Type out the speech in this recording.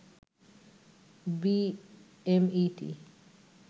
BMET